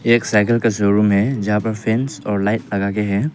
एक साइकल का शोरूम है जहां पर फैंस और लाइट लगा के है।